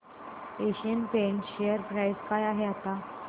Asian Paints share price काय आहे आता